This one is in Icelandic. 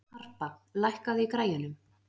Harpa, lækkaðu í græjunum.